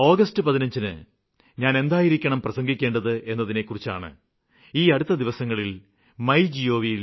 August 15ന് ഞാന് എന്തായിരിക്കണം പ്രസംഗിക്കേണ്ടത് എന്നതിനെക്കുറിച്ചാണ് ഈ അടുത്ത ദിവസങ്ങളില് മൈ gov